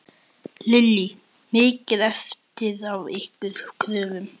Lillý: Mikið eftir af ykkar kröfum?